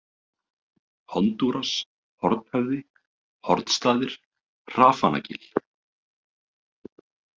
Hondúras, Hornhöfði, Hornsstaðir, Hrafanagil